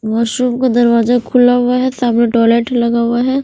Washroom का दरवाजा खुला हुआ है सामने लगा हुआ है।